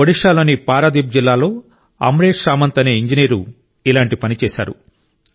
ఒడిషాలోని పారదీప్ జిల్లాలో అమ్రేష్ సామంత్ అనే ఇంజనీరు ఇలాంటి పని చేశారు